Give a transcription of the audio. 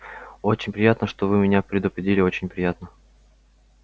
очень приятно что вы меня предупредили очень приятно